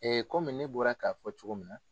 Ee komi ne bɔra k'a fɔ cogo min na.